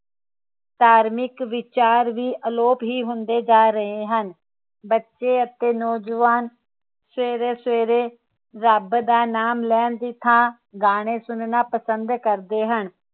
ਧਾਰਮਿਕ ਵਿਚਾਰ ਵੀ ਅਲੋਪ ਹੀ ਹੁੰਦੇ ਜਾ ਰਹੇ ਹਨ ਬੱਚੇ ਅਤੇ ਨੌਜਵਾਨ ਸਵੇਰੇ ਸਵੇਰੇ ਰੱਬ ਦਾ ਨਾ ਲੈਣ ਦੀ ਥਾਂ ਗਾਣੇ ਸੁਣਨਾ ਪਸੰਦ ਕਰਦੇ ਹਨ